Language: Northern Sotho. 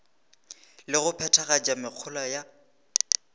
le go phethagatša mehola ya